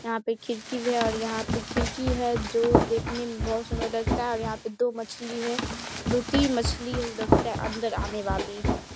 यहाँ पे खिरकी और यहाँ पे खिड़की है जो देखने में बोहत सुंदर लगता है और यहाँ पे दो मछली है दो-तीन मछली लगता है अंदर आने वाली --